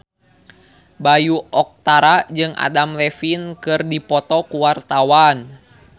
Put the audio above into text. Bayu Octara jeung Adam Levine keur dipoto ku wartawan